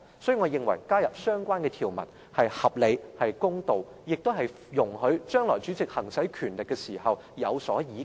因此，我認為加入相關條文是合理、公道，亦容許主席將來在行使權力時有所倚靠。